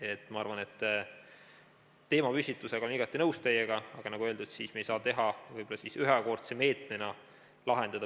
Teemapüstituse mõttes olen ma igati nõus teiega, aga nagu öeldud, me ei saa võib-olla lahendada pikaajalisi küsimusi ühekordse meetmega.